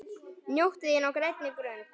Njóttu þín á grænni grund.